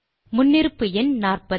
முன்னிருப்பு எண் 40